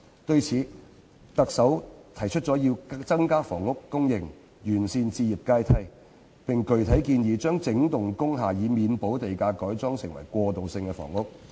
對此，特首提出要增加房屋供應、完善置業階梯，並具體建議"研究讓整幢工廈免補地價改裝為過渡性房屋"。